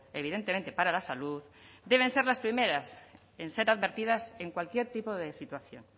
evidentemente para la salud deben ser las primeras en ser advertidas en cualquier tipo de situación